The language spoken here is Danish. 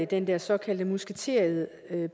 den der såkaldte musketered